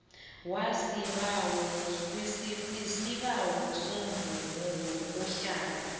wisibawo semvumo yokuhlala